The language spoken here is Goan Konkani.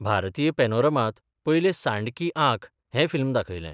भारतीय पॅनोरमांत पयले सांड की आंख हें फिल्म दाखयलें.